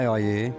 May ayı.